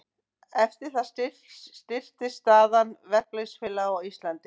Eftir það styrktist staða verkalýðsfélaga á Íslandi.